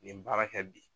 Nin baara kɛ bi